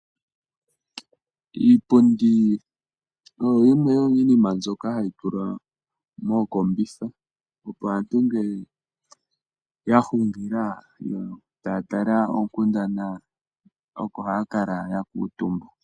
Iipundi oyo yimwe yomiinima mbyoka hayi tulwa mookombitha, opo aantu ngele yahungila, yo taya tala oonkundana, oko haya kala ya kuuntumba.